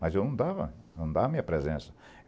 Mas eu não dava, não dava a minha presença.